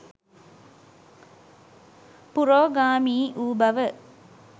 පුරෝගාමී වූ බව